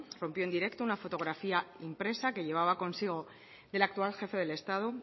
rompió en directo una fotografía impresa que llevaba consigo del actual jefe del estado